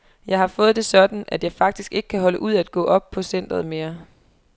Jeg har fået det sådan, at jeg faktisk ikke kan holde ud at gå op på centret mere.